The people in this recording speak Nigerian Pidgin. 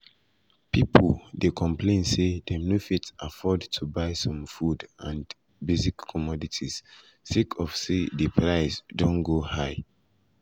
pipo dey complain say dem no fit afford to um buy some food and basic commodities sake of say di price di price don go high.